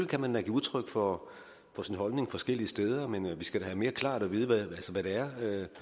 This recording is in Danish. kan man da give udtryk for sin holdning forskellige steder men vi skal da have mere klart at vide hvad det er